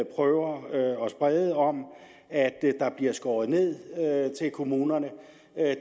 prøver at sprede om at der bliver skåret ned i kommunerne